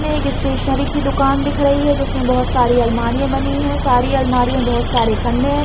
में स्टेसनरी की दुकान दिख रही है जिसमे बहुत सारी आलमारियाँ बनी है सारी आलमारियाँ बहुत सारे खंडे है।